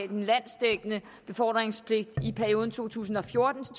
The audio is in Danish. den landsdækkende befordringspligt i perioden to tusind og fjorten